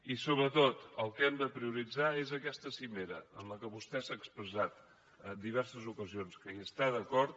i sobretot el que hem de prioritzar és aquesta cimera en què vostè ha expressat en diverses ocasions que hi està d’acord